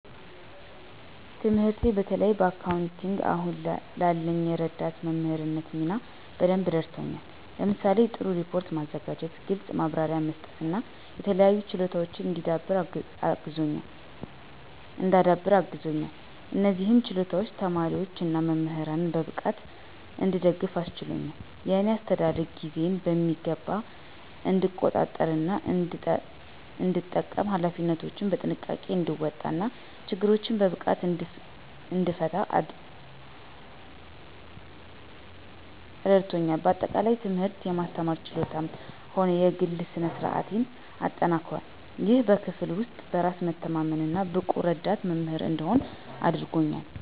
ትምህርቴ በተለይም በአካውንቲንግ አሁን ላለኝ የረዳት መምህርነት ሚና በደንብ አረድቶኛል። ለምሳሌ:- ጥሩ ሪፖርት ማዘጋጀት፣ ግልጽ ማብራሪያ መስጠት እና የተለያዩ ችሎታወችን እንዳዳብር አግዞኛል። እነዚህም ችሎታዎች ተማሪዎች እና መምህራንን በብቃት እንድደግፍ አስችሎኛል። የእኔ አስተዳደግ ጊዜን በሚገባ እንድቆጣጠር እና እንድጠቀም፣ ኃላፊነቶችን በጥንቃቄ እንድወጣ እና ችግሮችን በብቃት እንድፈታ እረዳቶኛል። በአጠቃላይ፣ ትምህርቴ የማስተማር ችሎታዬንም ሆነ የግሌ ስነ-ስርአቴን አጠናክሯል፣ ይህም በክፍል ውስጥ በራስ የመተማመን እና ብቁ ረዳት መምህር እንድሆን አድርጎኛል።